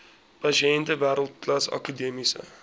pasiënte wêreldklas akademiese